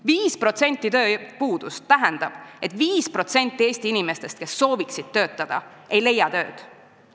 5% tööpuudust tähendab seda, et 5% Eesti inimestest, kes sooviksid töötada, ei leia tööd.